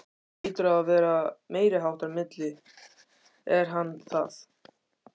Pabbi þinn hlýtur að vera meiriháttar milli, er hann það?